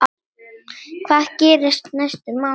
Hvað gerist næstu mánuði?